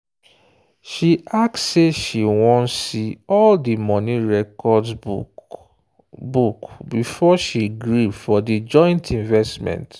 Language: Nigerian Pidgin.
she ask say she wan see all the money records book book before she gree for the joint investment.